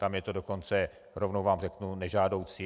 Tam je to dokonce, rovnou vám řeknu, nežádoucí.